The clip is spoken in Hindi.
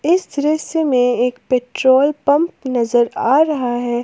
इस दृश्य में एक पेट्रोल पंप नजर आ रहा है।